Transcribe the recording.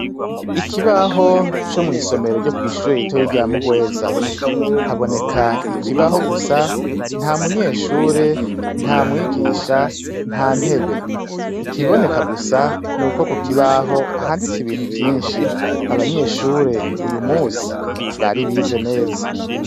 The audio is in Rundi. Ikibaho co mw'isomero ryo kw'ishure ritoya rya Muhweza. Haboneka ikibaho gusa, nta munyeshure, nta mwigisha, nta ntebe. Ikiboneka gusa, ni uko ku kibaho handitse ibintu vyinshi. Abanyeshure uyu munsi, bari bize neza.